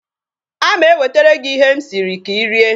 A ma-ewetere gị ihe m siri ka Ị rie.